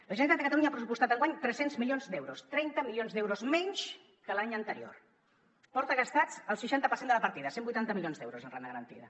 la generalitat a catalunya hi ha pressupostat enguany tres cents milions d’euros trenta milions d’euros menys que l’any anterior porta gastat el seixanta per cent de la partida cent i vuitanta milions d’euros en renda garantida